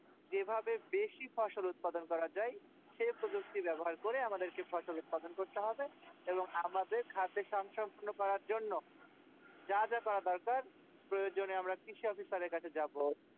যেভাবে বেশি ফসল উৎপাদন করা যাই সেই প্রযুক্তি ব্যবহার করে আমাদের ফসল উৎপাদন করতে হবে এবং আমাদের খাদ্য সংসদ পাকোড়ার জন্য যা যা করার দরকার প্রয়োজনে আমরা কৃষক officer আর কাছে যাবো